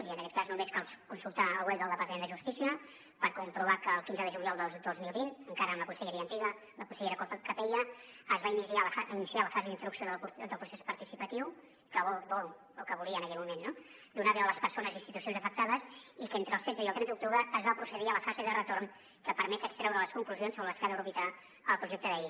i en aquest cas només cal consultar el web del departament de justícia per comprovar que el quinze de juliol de dos mil vint encara amb la conselleria antiga la consellera capella es va iniciar la fase d’instrucció del procés participatiu que volia en aquell moment no donar veu a les persones i institucions afectades i que entre el setze i el trenta d’octubre es va procedir a la fase de retorn que permet extreure les conclusions sobre les que ha d’orbitar el projecte de llei